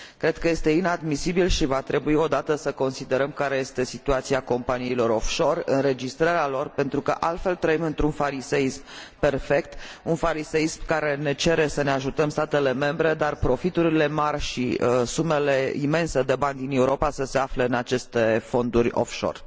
Cred că este inadmisibil și va trebui odată să analizăm care este situația companiilor off shore, înregistrarea lor, pentru că altfel trăim într un fariseism perfect, un fariseism care ne cere să ne ajutăm statele membre, în timp ce profiturile mari și sumele imense de bani din Europa se află în aceste fonduri off shore.